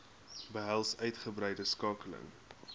behels uitgebreide skakeling